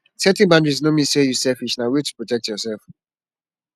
setting boundaries no mean say yu selfish na way to protect yursef